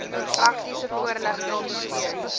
praktiese voorligting steun